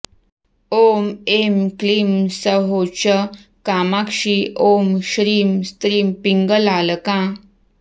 ॐ ऐं क्लीं सौः च कामाक्षी ॐ श्रीं स्त्रीं पिङ्गलालका